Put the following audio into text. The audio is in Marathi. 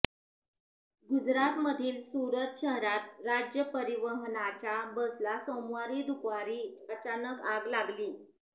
गुजरातमधील सूरत शहरात राज्य परिवहनच्या बसला सोमवारी दुपारी अचानक आग लागली